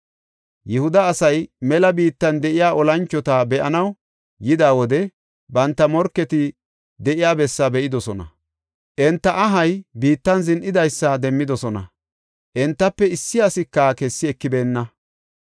Yihuda asay mela biittan de7iya olanchota be7anaw yida wode banta morketi de7iya bessaa be7idosona. Enta ahay biittan zin7idaysa demmidosona; entafe issi asika kessi ekibeenna.